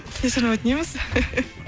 кешірім өтінеміз